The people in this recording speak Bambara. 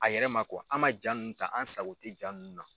A yɛrɛ ma an man jaa nun ta an sago tɛ jaa nun na.